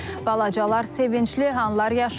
Balacalar sevincli anlar yaşayıb.